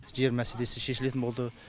жер мәселесі шешілетін болды